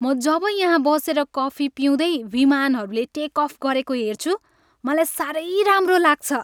म जब यहाँ बसेर कफी पिउँदै विमानहरूले टेक अफ गरेको हेर्छु, मलाई साह्रै राम्रो लाग्छ।